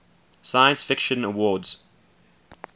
science fiction awards